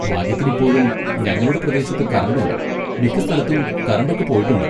ഭാഗ്യത്തിന് ഇപ്പോഴും ഞങ്ങളുടെ പ്രദേശത്ത് കറണ്ട് ഉണ്ട്, മിക്ക സ്ഥലത്തും കറണ്ട് ഒക്കെ പോയിട്ടുണ്ട്.